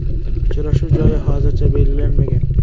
Uchrashuv joyi hozircha belgilanmagan.